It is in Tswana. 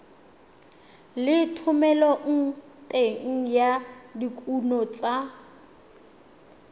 le thomeloteng ya dikuno tsa